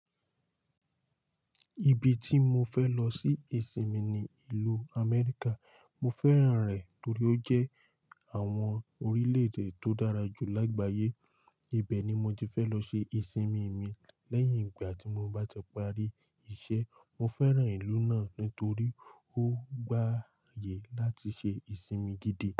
Ibi tí mo fẹ lọ sí ìsinmi ni ìlú Amẹ́ríkà. Mo fẹ́ràn rẹ̀ torí ó jẹ́ àwọn orílẹ̀-èdè tó dára jù lágbàáyé. Ibẹ̀ ni mo ti fẹ́ lọ ṣe ìsinmi mi lẹ́yìn ìgbà tí mo bá ti parí iṣẹ́. Mo fẹ́ràn ìlú náà nítorí ó gbàyè láti ṣe ìsinmi gidi.